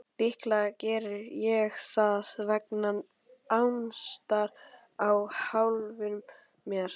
Líklega geri ég það vegna ástar á sjálfum mér.